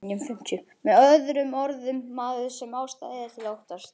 Með öðrum orðum, maður sem ástæða er til að óttast.